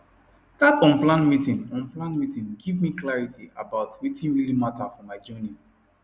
that unplanned meeting unplanned meeting give me clarity about wetin really matter for my journey